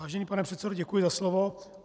Vážený pane předsedo, děkuji za slovo.